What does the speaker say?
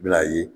Bila ye